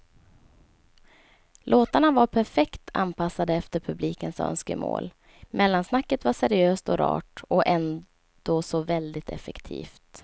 Låtarna var perfekt anpassade efter publikens önskemål, mellansnacket var seriöst och rart och ändå så väldigt effektivt.